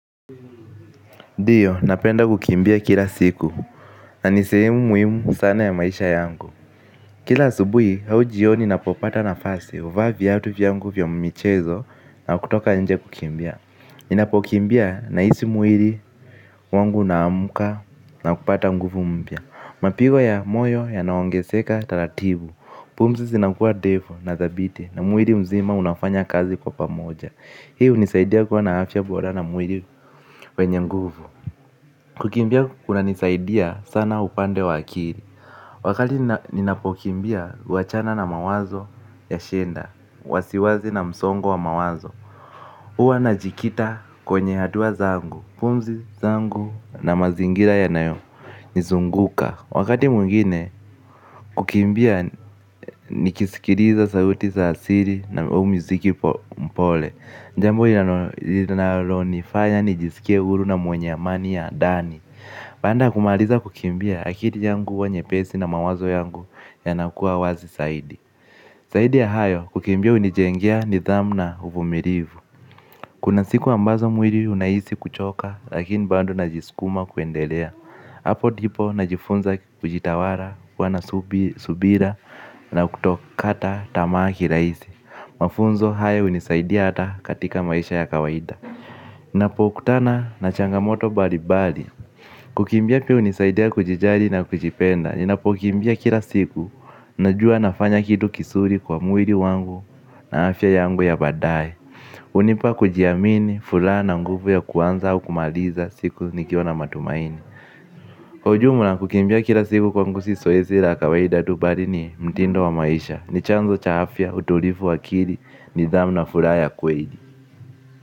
Ndiyo, napenda kukimbia kila siku, na ni sehemu muhimu sana ya maisha yangu. Kila asubuhi au jioni ninapopata nafasi, huvaa viatu vyangu vya michezo na kutoka nje kukimbia. Ninapokimbia nahisi mwili wangu unaamka na kupata nguvu mpya. Mapigo ya moyo yanaongezeka taratibu, pumzi zinakuwa ndefu na thabiti, na mwili mzima unafanya kazi kwa pamoja. Hii hunisaidia kuwa na afya bora na mwili wenye nguvu. Kukimbia kunisaidia sana upande wa akili. Wakati ninapokimbia huachana na mawazo ya shida, wasiwasi na msongo wa mawazo. Huwa najikita kwenye hatua zangu, pumzi zangu na mazingira yanayonizunguka. Nikizunguka. Wakati mwingine kukimbia nikisikiliza sauti za asili au muziki mpole. Jambo linalonifanya nijisikie huru na mwenye amani ya ndani. Baada ya kumaliza kukimbia, akili yangu huwa nyepesi na mawazo yangu yanakuwa wazi zaidi. Zaidi ya hayo, kukimbia hunijengea nidhamu na uvumilivu. Kuna siku ambazo mwili unahisi kuchoka, lakini bado najisukuma kuendelea. Hapo ndipo najifunza kujitawala, kuwa na subira na kutokata tamaa kirahisi. Mafunzo haya hunisaidia hata katika maisha ya kawaida. Ninapokutana na changamoto mbalimbali. Kukimbia pia kunisaidia kujijali na kujipenda. Ninapokimbia kila siku, najua nafanya kitu kizuri kwa mwili wangu na afya yangu ya baadaye. Hunipa kujiamini, furaha na nguvu ya kuanza au kumaliza siku, nikiwa na matumaini. Kwa ujumla, kukimbia kila siku kwangu si zoezi la kawaida tu, bali ni mtindo wa maisha, ni chanzo cha afya, utulivu wa akili, nidhamu na furaha ya kweli.